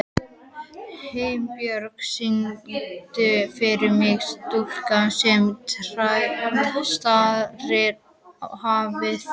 Himinbjörg, syngdu fyrir mig „Stúlkan sem starir á hafið“.